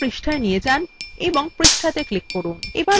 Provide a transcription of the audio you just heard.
cursor পৃষ্ঠায় নিয়ে যান এবং পৃষ্ঠাতে click করুন